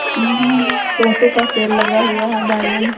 यहाँ टोटो का सेल लगा हुआ है। बैलून --